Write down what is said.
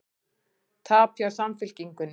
Tap hjá Samfylkingunni